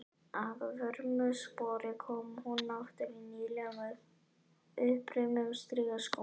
Að vörmu spori kom hún aftur í nýlegum, uppreimuðum strigaskóm.